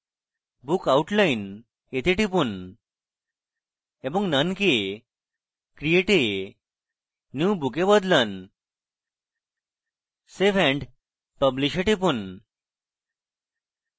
book outline a টিপুন এবং none কে create a new book a বদলান save and publish a টিপুন